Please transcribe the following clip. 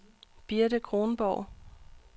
Birte Kronborg